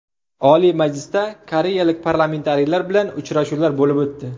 Oliy Majlisda koreyalik parlamentariylar bilan uchrashuvlar bo‘lib o‘tdi.